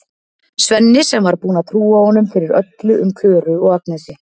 Svenni sem var búinn að trúa honum fyrir öllu um Klöru og Agnesi.